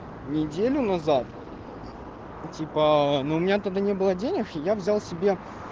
неделю назад и типа но у меня тогда не было денег я взял себе